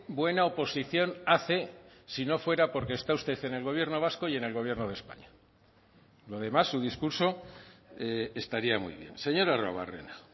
buena oposición hace si no fuera porque está usted en el gobierno vasco y en el gobierno de españa lo demás su discurso estaría muy bien señor arruabarrena